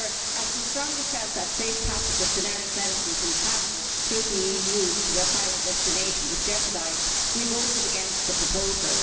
As we strongly felt that the safe passage of generic medicines in transit through the EU to the final destination was jeopardised, we voted against the proposal.